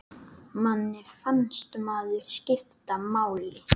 Manni fannst maður skipta máli.